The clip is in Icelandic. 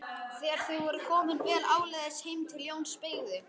Þegar þau voru komin vel áleiðis heim til Jóns beygði